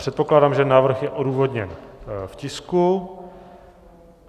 Předpokládám, že návrh je odůvodněn v tisku.